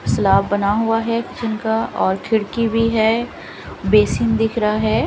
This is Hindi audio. स्लाब बना हुआ है किचन का और खीडकी भी है बेसिन दिख रहा है।